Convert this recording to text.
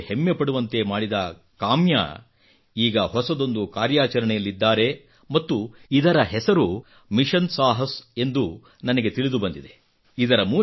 ದೇಶವೇ ಹೆಮ್ಮೆ ಪಡುವಂತೆ ಮಾಡಿದ ಕಾವ್ಯಾ ಈಗ ಹೊಸದೊಂದು ಕಾರ್ಯಾಚರಣೆಯಲ್ಲಿದ್ದಾರೆ ಮತ್ತು ಇದರ ಹೆಸರು ಮಿಷನ್ ಸಾಹಸ್ ಎಂದು ನನಗೆ ತಿಳಿದು ಬಂದಿದೆ